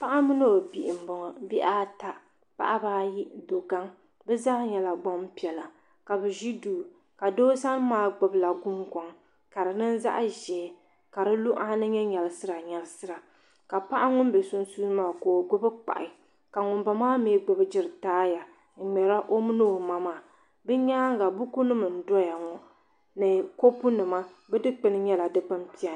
paɣa mini o bihi m-bɔŋɔ bihi ata paɣaba ayi do' gaŋa bɛ zaa nyɛla gbaŋ' piɛlli ka bɛ ʒi duu ka doo sani maa gbubi la gunguŋ ka di niŋ zaɣ' ʒee ka di luɣa ni nyɛ nyɛlisira nyɛlisira ka paɣa ŋun be sunsuuni maa ka o gbubi kpahi ka ŋun bala maa mi gbubi gitaaya n-niŋda o mini o ma maa din nyaaga bukunima n-doya ŋɔ ni kopu nima bɛ dukpuni nyɛla dukpun' piɛlli.